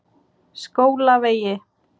Skólavegi